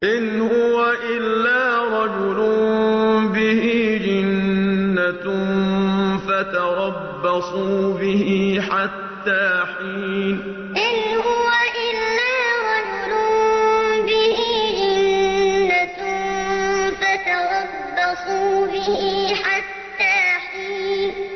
إِنْ هُوَ إِلَّا رَجُلٌ بِهِ جِنَّةٌ فَتَرَبَّصُوا بِهِ حَتَّىٰ حِينٍ إِنْ هُوَ إِلَّا رَجُلٌ بِهِ جِنَّةٌ فَتَرَبَّصُوا بِهِ حَتَّىٰ حِينٍ